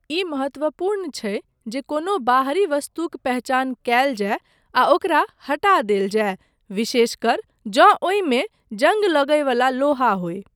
ई महत्वपूर्ण छै जे कोनो बाहरी वस्तुक पहचान कयल जाय आ ओकरा हटा देल जाय, विशेषकर जँ ओहिमे जंग लगय वला लोहा होय।